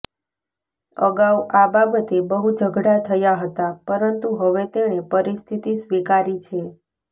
અગાઉ આ બાબતે બહુ ઝઘડા થતા હતા પરંતુ હવે તેણે પરિસ્થિતિ સ્વીકારી છે